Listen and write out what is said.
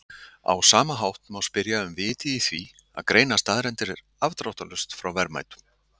Á sama hátt má spyrja um vitið í því að greina staðreyndir afdráttarlaust frá verðmætum.